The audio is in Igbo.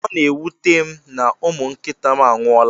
Ọ na-ewuta m na umụ nkịta m anwuola.